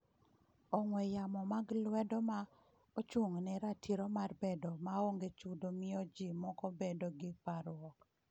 Ong'we yamo mag lwedo ma ochung’ne Ratiro mar bedo maonge chudo miyo ji moko bedo gi parruok.